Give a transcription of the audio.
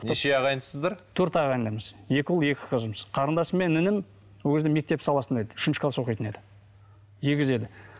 неше ағайындысыздар төрт ағайындымыз екі ұл екі қызмыз қарындасым мен інім ол кезде мектеп саласында еді үшінші класс оқитын еді егіз еді